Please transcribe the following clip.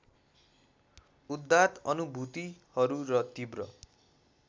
उदात्त अनुभूतिहरू र तीव्र